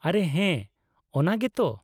-ᱟᱨᱮ ᱦᱮᱸ, ᱚᱱᱟ ᱜᱮ ᱛᱚ !